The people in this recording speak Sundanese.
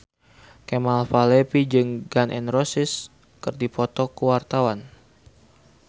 Kemal Palevi jeung Gun N Roses keur dipoto ku wartawan